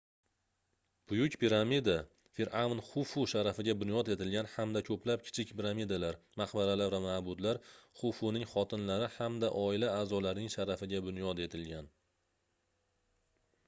buyuk piramida firʼavn xufu sharafiga bunyod etilgan hamda koʻplab kichik piramidalar maqbaralar va maʼbadlar xufuning xotinlari hamda oila aʼzolarining sharafiga bunyod etilgan